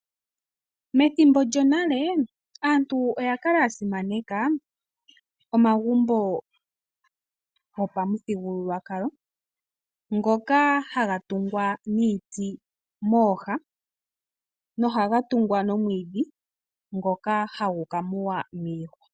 Methimbo lyonale aantu oya kala ya simaneka omagumbo go pamuthigululwakalo ngoka haga tungwa niiti mooha, nohaga tungwa nomwiidhi ngoka hagu ka muwa miihwa.